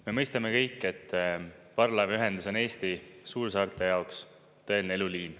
Me mõistame kõik, et parvlaevaühendus on Eesti suursaarte jaoks tõeline eluliin.